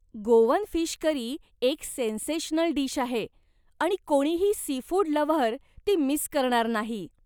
Goan fish curry एक sensational dish आहे, आणि कोणीही सीफूड लव्हर ती मिस करणार नाही.